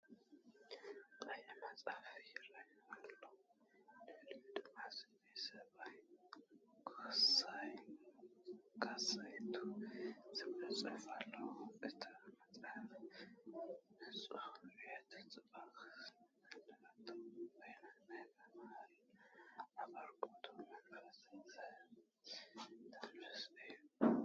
ቀይሕ መጽሓፍ ይርአ፤ ኣብ ልዕሊኡ ድማ ስእሊ ሰብን "ኮሳይ 2" ዝብል ጽሑፍን ኣሎ። እታ መጽሓፍ ንጹርነትን ጽባቐን ዝመልአት ኮይና፡ ናይ ምምሃርን ኣበርክቶን መንፈስ ዘስተንፍስ እያ።